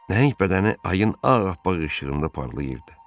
Nəinki bədəni ayın ağappaq işığında parlayırdı.